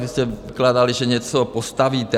Vy jste vykládali, že něco postavíte.